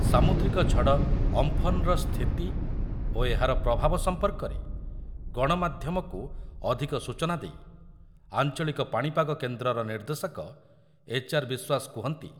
ସାମୁଦ୍ରିକ ଝଡ଼ ଅମ୍ଫନ୍‌ର ସ୍ଥିତି ଓ ଏହାର ପ୍ରଭାବ ସମ୍ପର୍କରେ ଗଣମାଧ୍ୟମକୁ ଅଧିକ ସୂଚନା ଦେଇ ଆଞ୍ଚଳିକ ପାଣିପାଗ କେନ୍ଦ୍ରର ନିର୍ଦ୍ଦେଶକ ଏଚ୍.ଆର୍.ବିଶ୍ୱାସ କୁହନ୍ତି